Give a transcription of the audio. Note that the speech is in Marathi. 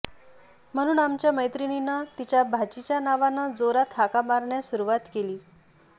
म्हणून आमच्या मैत्रिणीनं तिच्या भाचीच्या नावानं जोरात हाका मारण्यास सुरुवात केली